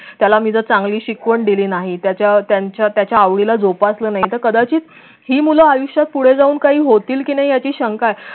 त्याला मी जर चांगली शिकवण दिली नाही त्याच्या आवडीला जोपासलं नाही तर कदाचित ही मूल आयुष्यात पुढे जाऊन काही होतील की नाही याची शंका आहे